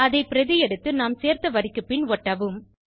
அதை பிரதி எடுத்து நாம் சேர்த்த வரிக்கு பின் ஒட்டவும்